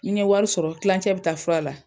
Ni n ye wari sɔrɔ tilancɛ bi taa fura la